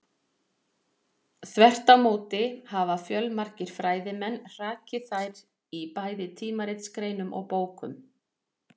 Þvert á móti hafa fjölmargir fræðimenn hrakið þær í bæði tímaritsgreinum og bókum.